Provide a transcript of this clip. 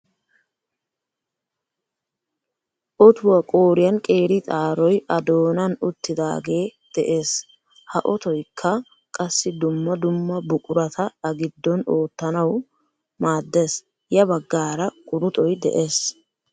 Otuwa qooriyaan qeeri xaaroy a doonan uttidaage de'ees. Ha ottoykka qassi dumma dumma buqurata a giddon qottanawu maaddees. ya baggaara quruxoy de'ees.